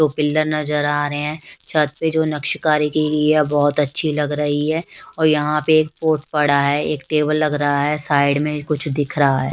दो पिलर नजर आ रहे है छत पे जो नक्शकारी की गई है बोहोत अच्छी लग रही है और यहाँ पे एक पॉट पड़ा है एक टेबल लग रहा है साइड में कुछ दिख रहा है।